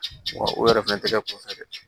o yɛrɛ fɛnɛ tɛ kɛ kɔfɛ dɛ